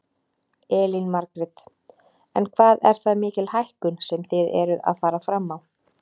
Elín Margrét: En hvað er það mikil hækkun sem þið eruð að fara fram á?